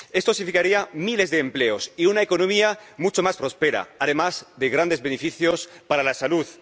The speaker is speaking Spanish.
Esto significaría miles de empleos y una economía mucho más próspera, además de grandes beneficios para la salud.